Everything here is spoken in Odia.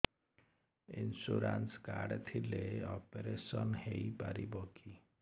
ଇନ୍ସୁରାନ୍ସ କାର୍ଡ ଥିଲେ ଅପେରସନ ହେଇପାରିବ କି